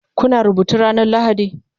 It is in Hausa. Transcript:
Kuna rubutu ranar laraba?